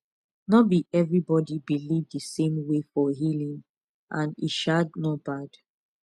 no be everybody believe the same way for healing and e um no bad